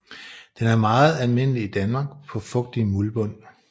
Den er meget almindelig i Danmark på fugtig muldbund